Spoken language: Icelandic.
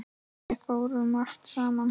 Við fórum margt saman.